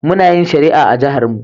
Muna yin shari'a a jiharmu.